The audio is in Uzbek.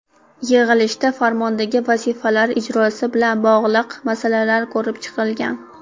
Yig‘ilishda farmondagi vazifalar ijrosi bilan bog‘liq masalalar ko‘rib chiqilgan.